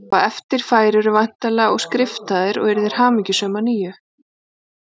Og á eftir færirðu væntanlega og skriftaðir og yrðir hamingjusöm að nýju